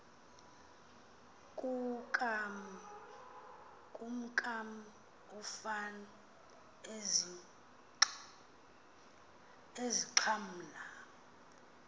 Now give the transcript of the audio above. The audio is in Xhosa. kukam ufan ezixhamla